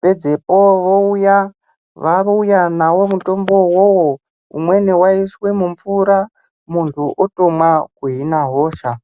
Pedzepo vouya vauya navo mutombo ivovo umweni vaiiswa mumvura munhu otomwa kuhina hosha.